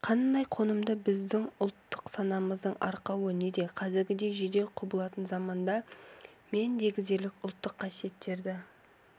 қандайы қонымды біздің ұлтгық санамыздың арқауы неде қазіргідей жедел құбылатын заманда мен дегізерлік ұлттық қасиеттерді